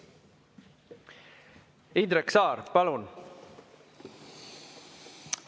Indrek Saar, palun!